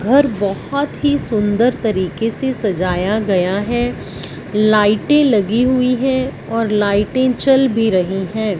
घर बहोत ही सुंदर तरीके से सजाया गया है। लाइटे लगी हुई है और लाइटें जल भी रही है।